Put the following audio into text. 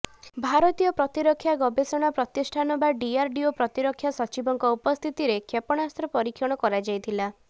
ଭାରତୀୟ ପ୍ରତିରକ୍ଷା ଗବେଷଣା ପ୍ରତିଷ୍ଠୋନ ବା ଡିଆରଡିଓର ପ୍ରତିରକ୍ଷା ସଚିବଙ୍କ ଉପସ୍ଥିତିରେ କ୍ଷେପଣାସ୍ତ୍ର ପରୀକ୍ଷଣ କରାଯାଇଥିଲା